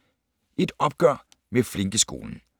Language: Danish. Et opgør med flinkeskolen